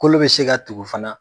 Kolo bɛ se ka tugu fana